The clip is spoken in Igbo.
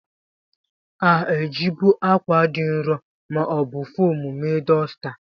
A jibu akwa dị nro ma ọ bụ foomu mee dosta.